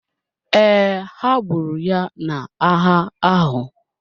Ee, ha gburu ya n’agha ahụ.